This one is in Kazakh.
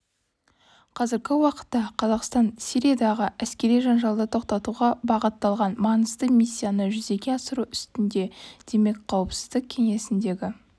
қазіргі уақытта қазақстан сириядағы әскери жанжалды тоқтатуға бағытталған маңызды миссияны жүзеге асыру үстінде демек қауіпсіздік кеңесіндегі